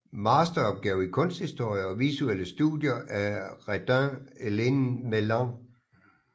Masteroppgave i kunsthistorie og visuelle studier af Reidun Helene Mæland